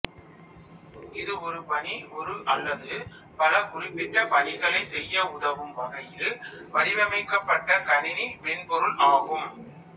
இது ஒரு பணி ஒரு அல்லது பல குறிப்பிட்ட பணிகளை செய்ய உதவும் வகையில் வடிவமைக்கப்பட்ட கணினி மென்பொருள் ஆகும்